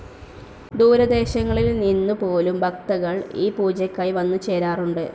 ദൂരദേശങ്ങളിൽ നിന്നു പോലും ഭക്തകൾ ഈ പൂജയ്ക്കായി വന്നു ചേരാറുണ്ട്.